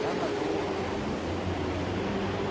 Anador.